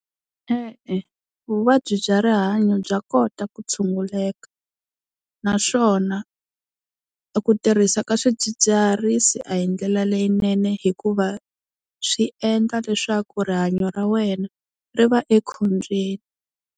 E-e vuvabyi bya rihanyo bya kota ku tshunguleka, naswona ku tirhisa ka swidzidziharisi a hi ndlela leyinene hikuva swi endla leswaku rihanyo ra wena ri va ekhombyeni.